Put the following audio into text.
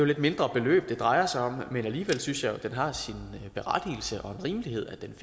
lidt mindre beløb det drejer sig om men alligevel synes jeg at den har sin berettigelse og rimelighed i